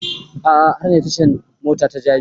A'a har na je tashan mota ta jabi